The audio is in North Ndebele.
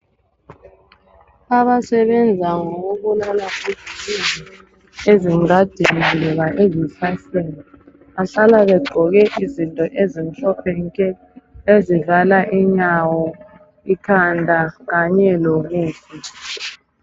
Abasebenza ngokubulala izibungu ezingadini loba ezihlahleni bahlala begqoke impahla ezimhlophe nke ezivala inyawo, ikhanda kanye lobuso.